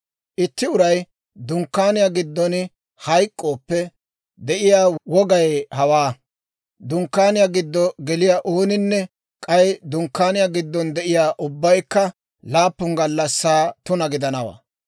«Itti uray dunkkaaniyaa giddon hayk'k'ooppe de'iyaa wogay hawaa: dunkkaaniyaa giddo geliyaa ooninne, k'ay dunkkaaniyaa giddon de'iyaa ubbaykka laappun gallassaa tuna gidanawaa.